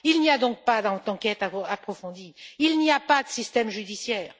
Il n'y a donc pas d'enquête approfondie, il n'y a pas de système judiciaire.